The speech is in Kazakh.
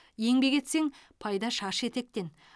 еңбек етсең пайда шаш етектен